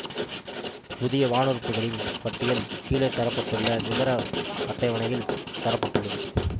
புதிய வானுறுப்புகளின் பட்டியல் கீழே தர பட்டுள்ள விவர அட்டவணையில் தர பட்டுள்ளது